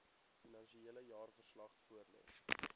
finansiële jaarverslag voorlê